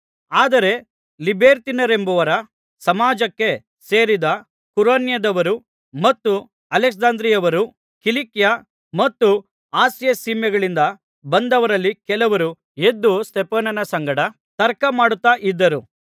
ಆದರೆ ಲಿಬೆರ್ತೀನರೆಂಬವರ ಸಮಾಜಕ್ಕೆ ಸೇರಿದ ಕುರೇನ್ಯದವರು ಮತ್ತು ಅಲೆಕ್ಸಾಂದ್ರಿಯದವರು ಕಿಲಿಕ್ಯ ಮತ್ತು ಆಸ್ಯ ಸೀಮೆಗಳಿಂದ ಬಂದವರಲ್ಲಿ ಕೆಲವರು ಎದ್ದು ಸ್ತೆಫನನ ಸಂಗಡ ತರ್ಕಮಾಡುತ್ತಾ ಇದ್ದರು